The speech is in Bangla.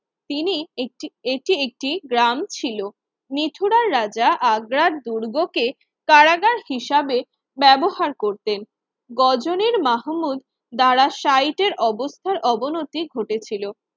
তিনি একটি এটি একটি গ্রাম ছিল মিঠুরাল রাজা আগ্রার দুর্গকে কারাগার হিসাবে ব্যবহার করতেন গজনীর মাহমুদ দ্বারা সাইটের অবস্থার অবনতি ঘটেছিল